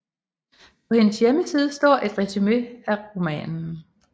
På hendes hjemmeside står et resume af romanen